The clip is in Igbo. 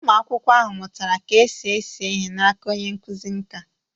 Ụmụ akwụkwọ ahụ mụtara ka esi ese ihe n'aka onye nkụzi nkà.